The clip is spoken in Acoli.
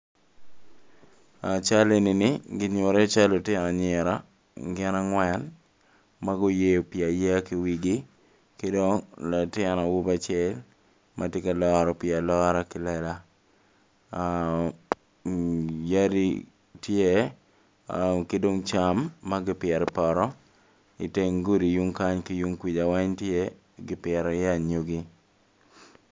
Cal enini kinyuto iye cal pa lutino anyira gin angwen ma guyeyo pi ayeya ki i wi gi ki dong latin awobi acel ma tye ka loro pii alora ki lela yadi tye ki dong cam ma kipito i poto i teng gudi yung kany ki yung kwica tye ki pito iye anyogi.